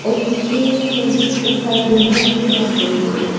पीछे में बहुत सारा बिल्डिंग्स भी दिख रही है।